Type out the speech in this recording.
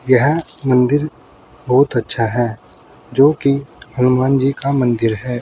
यह मंदिर बहुत अच्छा है जो कि हनुमान जी का मंदिर है।